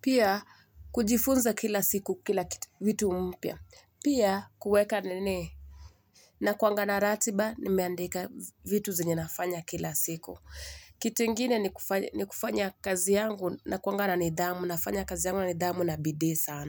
Pia kujifunza kila siku kila kitu, vitu mpya. Pia kuweka nini. Nakuanga na ratiba nimeandika vitu zenye ninafanya kila siku. Kitu ingine ni kufanya ni kufanya kazi yangu nakuanga na nidhamu. Nafanya kazi yangu na nidhamu na bidii sana.